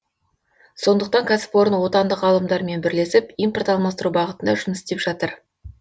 сондықтан кәсіпорын отандық ғалымдармен бірлесіп импорт алмастыру бағытында жұмыс істеп жатыр